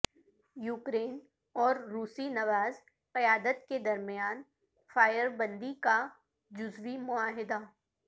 Ukraine اور روسی نواز قیادت کے درمیان فائربندی کا جزوی معاہدہ